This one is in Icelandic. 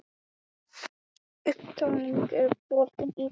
Útlaginn er bolti sem kastað er hátt upp í loftið.